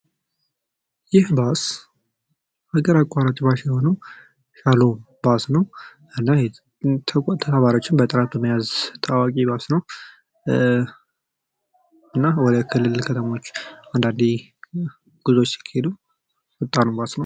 ይህ ባስ ሀገር አቋራጭ ባስ የሆነው ሻሎም ባስ ነው። ተጠባባቂወችን በተራ በመያዝ ታዋቂ ባስ ነው። እና ወደ ክልል ከተሞች አንዳንዴ ጉዞ ሲሄዱ ፈጣን ባስ ነው።